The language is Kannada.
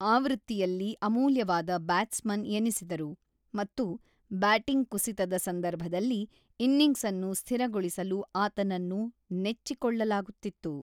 ಆವೃತ್ತಿಯಲ್ಲಿ ಅಮೂಲ್ಯವಾದ ಬ್ಯಾಟ್ಸ್‌ಮನ್ ಎನಿಸಿದರು, ಮತ್ತು ಬ್ಯಾಟಿಂಗ್ ಕುಸಿತದ ಸಂದರ್ಭದಲ್ಲಿ ಇನ್ನಿಂಗ್ಸ್ಅನ್ನು ಸ್ಥಿರಗೊಳಿಸಲು ಆತನನ್ನು ನೆಚ್ಚಿಕೊಳ್ಳಲಾಗುತ್ತಿತ್ತು.